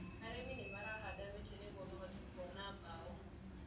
Arĩmi nĩmarahanda mĩtĩ ya nĩguo mahote kuona mbaũ.